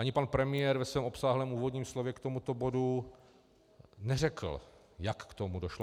Ani pan premiér ve svém obsáhlém úvodním slovu k tomuto bodu neřekl, jak k tomu došlo.